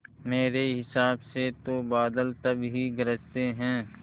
मेरे हिसाब से तो बादल तभी गरजते हैं